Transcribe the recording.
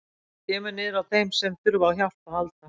Það kemur niður á þeim sem þurfa á hjálp að halda.